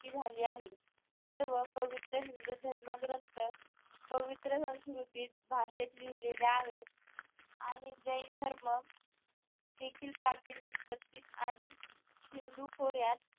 झाली आहे सर्व पवित्र हिंदू धर्म ग्रंथ पवित्र संस्कृतीत भाषेत लिहिले आहेत आणि जैन धर्म देखील प्राचीन उत्पत्तीत आणि सिंधू खोऱ्यात